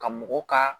Ka mɔgɔ ka